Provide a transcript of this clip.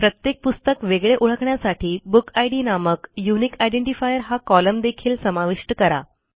प्रत्येक पुस्तक वेगळे ओळखण्यासाठी बुकिड नामक युनिक आयडेंटिफायर हा कोलम्न देखील समाविष्ट करा